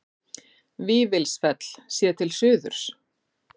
Vífilsfell séð til suðurs.